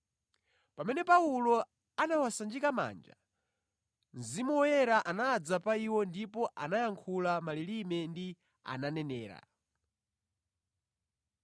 Pamene Paulo anawasanjika manja, Mzimu Woyera anadza pa iwo ndipo anayankhula mʼmalilime ndipo ananenera.